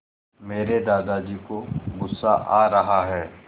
मेरे दादाजी को गुस्सा आ रहा है